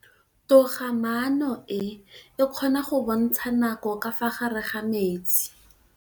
Toga-maanô e, e kgona go bontsha nakô ka fa gare ga metsi.